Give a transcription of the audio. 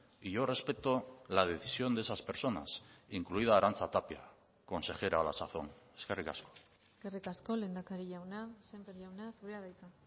y yo respeto la decisión de esas personas incluida arantxa tapia consejera a la sazón eskerrik asko eskerrik asko lehendakari jauna sémper jauna zurea da hitza